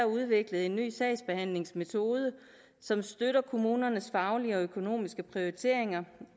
udviklet en ny sagsbehandlingsmetode som støtter kommunernes faglige og økonomiske prioriteringer